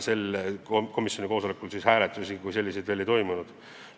Sellel komisjoni koosolekul hääletusi veel ei toimunud.